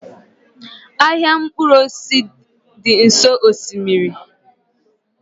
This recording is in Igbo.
Ahịa mkpụrụ osisi dị nso osimiri